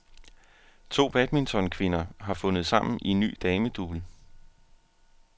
To badmintonkvinder har fundet sammen i en ny damedouble.